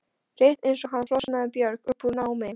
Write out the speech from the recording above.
Rétt eins og hann flosnaði Björg upp úr námi.